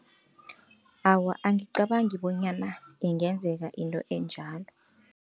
Awa, angicabangi bonyana ingenzeka into enjalo.